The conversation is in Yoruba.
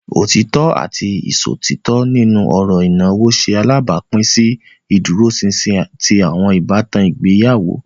Otitọ ati iṣotitọ nínú ọrọ ìnáwó ṣe alabapin si ìdúróṣinṣin ti awọn ìbátan ìgbéyàwó.